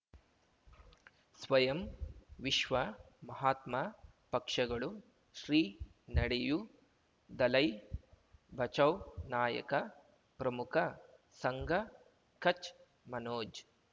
ಸ್ವಯಂ ವಿಶ್ವ ಮಹಾತ್ಮ ಪಕ್ಷಗಳು ಶ್ರೀ ನಡೆಯೂ ದಲೈ ಬಚೌ ನಾಯಕ ಪ್ರಮುಖ ಸಂಘ ಕಚ್ ಮನೋಜ್